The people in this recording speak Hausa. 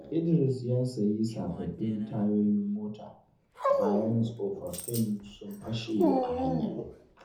Idris ya sayi sababbin tayoyin mota bayan tsofaffin sun fashe a hanya.